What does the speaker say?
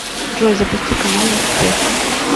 джой запусти каналы успех